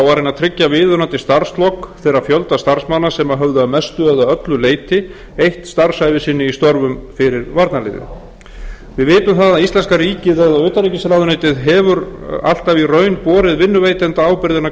reyna að tryggja viðunandi starfslok þeirra fjölda starfsmanna sem höfðu að mestu eða öllu leyti eytt starfsævi sinni í störfum fyrir varnarliðið við vitum það að íslenska ríkið eða utanríkisráðuneytið hefur alltaf í raun borið vinnuveitendaábyrgðina